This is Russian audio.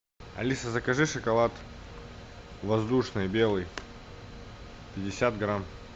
алиса закажи шоколад воздушный белый пятьдесят грамм